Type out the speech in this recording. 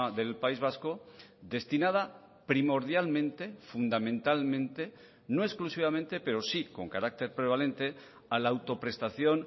del país vasco destinada primordialmente fundamentalmente no exclusivamente pero sí con carácter prevalente a la autoprestación